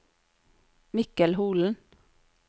Mikkel Holen